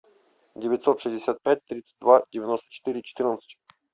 девятьсот шестьдесят пять тридцать два девяносто четыре четырнадцать